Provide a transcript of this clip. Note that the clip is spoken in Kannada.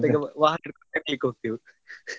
ಮತ್ತೆ ವಾಹನ ಹಿಡ್ಕೊಂಡು ತಿರ್ಗ್ಲಿಕ್ಕೆ ಹೋಗ್ತೇವೆ .